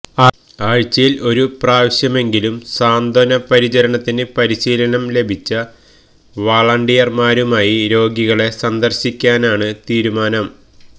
ആഴ്ചയിൽ ഒരു പ്രാവശ്യമെങ്കിലും സാന്ത്വന പരിചരണത്തിന് പരിശീലനം ലഭിച്ച വളണ്ടിയർമാരുമായി രോഗികളെ സന്ദർശിക്കാനാണ് തീരുമാനം